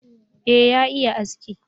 e ya iya aski